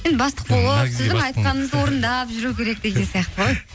енді бастық болып орындап жүру керек деген сияқты ғой